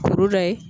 Kuru la ye